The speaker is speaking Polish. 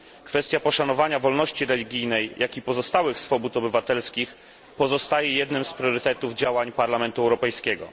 Kwestia poszanowania wolności religijnej, jak i pozostałych swobód obywatelskich pozostaje jednym z priorytetów działań Parlamentu Europejskiego.